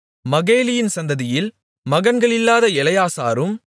மகேலியின் சந்ததியில் மகன்களில்லாத எலெயாசாரும்